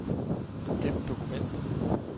Gem dokument.